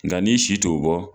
Nka' n'isi t to bɔ.